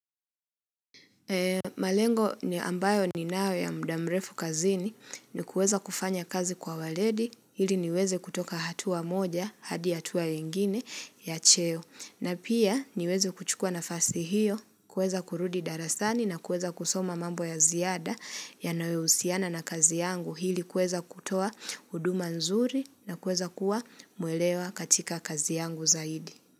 Malengo ni ambayo ninayo ya muda mrefu kazini ni kuweza kufanya kazi kwa uwaledi, ili niweze kutoka hatua moja, hadi hatua ingine ya cheo. Na pia niweze kuchukua nafasi hiyo, kuweza kurudi darasani na kuweza kusoma mambo ya ziada yanayo husiana na kazi yangu. Ili kuweza kutoa huduma nzuri na kuweza kuwa muelewa katika kazi yangu zaidi.